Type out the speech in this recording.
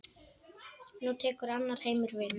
Nú tekur annar heimur við.